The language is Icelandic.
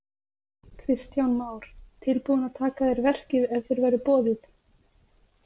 Kristján Már: Tilbúin að taka að þér verkið ef þér verður boðið?